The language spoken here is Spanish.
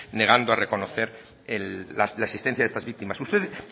negando a reconocer la existencia de estas víctimas ustedes